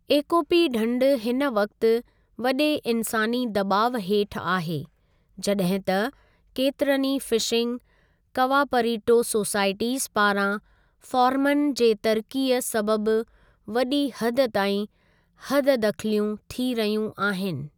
एकोपि ढंढ हिन वक़्ति वॾे इन्सानी दॿाव हेठि आहे, जॾहिं त केतिरनि ई फ़िशिंग कवापरीटो सोसाइटीज़ पारां फ़ारमन जे तरक़ीअ सबबु वॾी हद ताईं हददख़लियूं थी रहियूं आहिनि।